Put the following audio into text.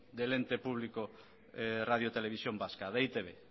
del ente público radio televisión vasca de e i te be